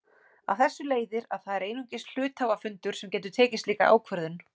Af þessu leiðir að það er einungis hluthafafundur sem getur tekið slíka ákvörðun.